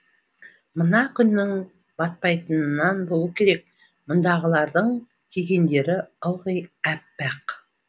мына күннің батпайтынынан болу керек мұндағылардың кигендері ылғи аппақ